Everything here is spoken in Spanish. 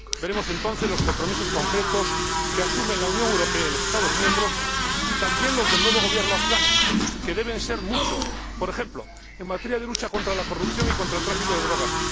Veremos entonces los compromisos concretos que asumen la Unión Europea y los Estados miembros y también los del nuevo Gobierno afgano, que deben ser muchos, por ejemplo, en materia de lucha contra la corrupción y contra el tráfico de drogas.